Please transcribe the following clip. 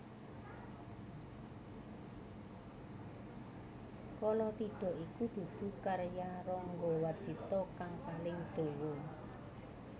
Kalatidha iku dudu karya Rangga Warsita kang paling dawa